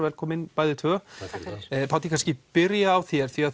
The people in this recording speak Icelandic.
velkomin bæði tvö takk fyrir Páll ég kannski byrja á þér því